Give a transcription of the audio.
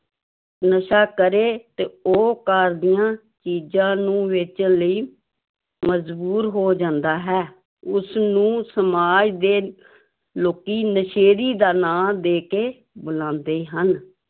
ਨਸ਼ਾ ਕਰੇ ਤੇ ਉਹ ਘਰ ਦੀਆਂ ਚੀਜ਼ਾਂ ਨੂੰ ਵੇਚਣ ਲਈ ਮਜ਼ਬੂੂਰ ਹੋ ਜਾਂਦਾ ਹੈ, ਉਸਨੂੰ ਸਮਾਜ ਦੇ ਲੋਕੀ ਨਸ਼ੇੜੀ ਦਾ ਨਾਂ ਦੇ ਕੇ ਬੁਲਾਉਂਦੇ ਹਨ।